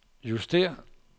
justér